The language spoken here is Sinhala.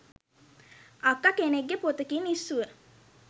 අක්ක කෙනෙක්ගෙ පොතකින් ඉස්සුව